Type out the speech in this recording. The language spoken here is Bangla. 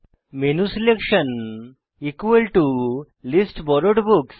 menu selection list borrowed books